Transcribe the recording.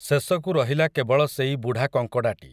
ଶେଷକୁ ରହିଲା କେବଳ ସେଇ ବୁଢ଼ା କଙ୍କଡ଼ାଟି ।